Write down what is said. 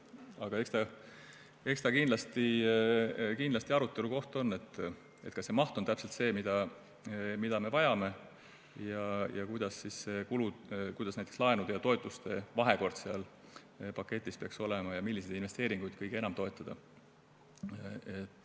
Aga eks see kindlasti arutelu koht ole, kas see maht on täpselt see, mida me vajame, ja kuidas kulud ning näiteks laenude ja toetuste vahekord peaksid seal paketis olema ning milliseid investeeringuid kõige enam toetada.